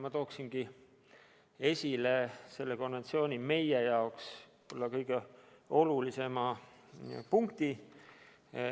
Ma tooksin esile selle konventsiooni meie jaoks võib-olla kõige olulisema punkti.